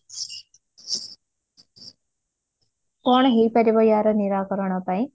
କଣ ହେଇପାରିବ ଆର ନିରାକରଣ ପାଇଁ?